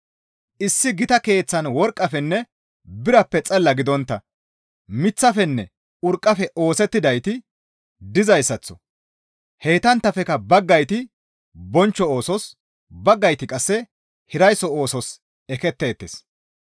Issi gita keeththan worqqafenne birappe xalla gidontta miththafenne urqqafe oosettidayti dizayssaththo heytanttafekka baggayti bonchcho oosos, baggayti qasse hiraysso oosos eketteettes.